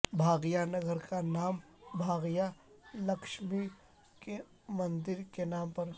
بھاگیہ نگر کا نام بھاگیہ لکشمی کے مندر کے نام پر